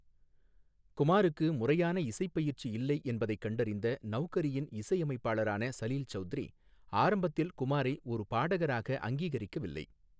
குமாருக்கு முறையான இசைப்பயிற்சி இல்லை என்பதைக் கண்டறிந்த நௌகரியின் இசையமைப்பாளரான சலில் சௌத்ரி ஆரம்பத்தில் குமாரை ஒரு பாடகராக அங்கீகரிக்கவில்லை.